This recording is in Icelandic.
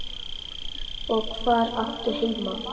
Og hvar áttu heima?